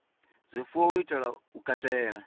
zwifuwo u itela u katela